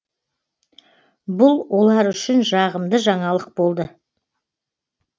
бұл олар үшін жағымды жаңалық болды